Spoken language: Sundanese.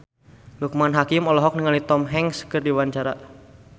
Loekman Hakim olohok ningali Tom Hanks keur diwawancara